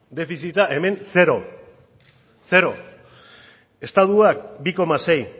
defizita hemen zero zero estatuak bi koma sei